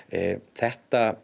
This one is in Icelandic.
þetta